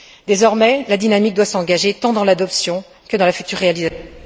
Désormais, la dynamique doit s'engager tant dans l'adoption que dans la future réalisation